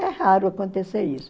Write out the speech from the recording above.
É raro acontecer isso.